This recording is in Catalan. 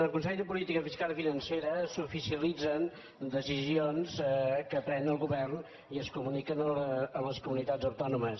al consell de política fiscal i financera s’oficialitzen decisions que pren el govern i es comuniquen a les comunitats autònomes